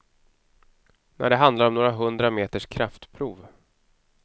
När det handlar om några hundra meters kraftprov.